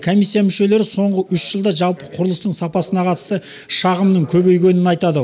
комиссия мүшелері соңғы үш жылда жалпы құрылыстың сапасына қатысты шағымның көбейгенін айтады